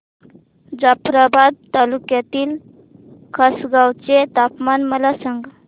जाफ्राबाद तालुक्यातील खासगांव चे तापमान मला सांग